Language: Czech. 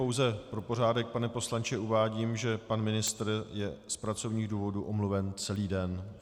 Pouze pro pořádek, pane poslanče, uvádím, že pan ministr je z pracovních důvodů omluven celý den.